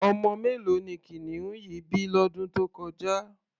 Ọmọ mélòó ni kìnìún yìí bí lọ́dún tó kọjá?